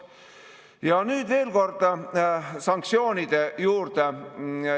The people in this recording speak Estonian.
Ja nüüd veel korda sanktsioonide juurde.